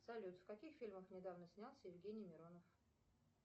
салют в каких фильмах недавно снялся евгений миронов